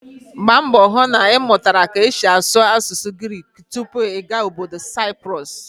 Gbaa mbọ hụ na ị mụtara ka esi asụ asụsụ Grik tupu ị gaa ọbọdọ Saịprọs!